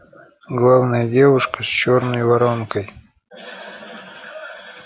главное девушка с чёрной воронкой